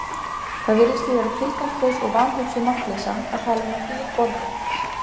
Það virðist því vera tilgangslaus og vanhugsuð markleysa að tala um að dýr borði.